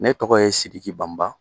Ne tɔgɔ ye Sidiki Banba